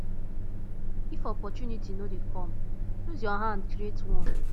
if opportunity no de come use your hand create one